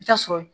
I bi taa sɔrɔ